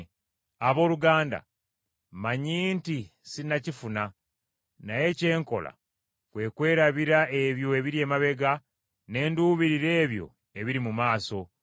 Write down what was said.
Abooluganda, mmanyi nti sinnakifuna, naye kye nkola kwe kwerabira ebyo ebiri emabega ne nduubirira ebyo ebiri mu maaso.